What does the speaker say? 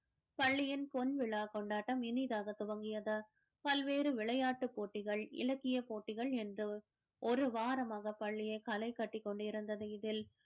பள்ளியின் பொன்விழா கொண்டாட்டம் இனிதாக துவங்கியது பல்வேறு விளையாட்டு போட்டிகள் இலக்கிய போட்டிகள் என்று ஒரு வாரமாக பள்ளியே கலை கட்டிக் கொண்டிருந்தது இதில்